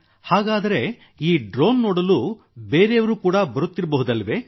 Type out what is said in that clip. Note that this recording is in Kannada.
ಹಾಗಾದರೆ ಈ ಡ್ರೋನ್ ನೋಡಲು ಬೇರೆಯವರು ಕೂಡ ಬರುತ್ತಿರಬಹುದಲ್ಲವೇ